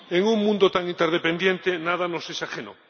En un mundo tan interdependiente, nada nos es ajeno.